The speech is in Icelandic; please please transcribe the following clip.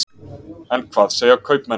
En hvað segja kaupmenn?